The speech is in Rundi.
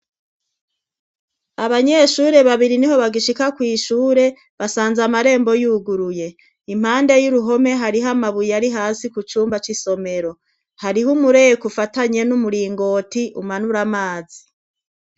abanyeshure babiri niho bagishika kw'ishure basanze amarembo yuguruye impande y'uruhome hariho amabuye ari hasi ku cumba c'isomero hariho umureko ufatanye n'umuringoti umanura amazi